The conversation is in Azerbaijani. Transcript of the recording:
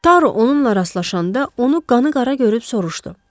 Taru onunla rastlaşanda onu qanıqara görüb soruşdu.